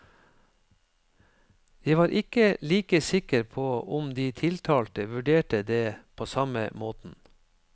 Jeg var ikke like sikker på om de tiltalte vurderte det på samme måten.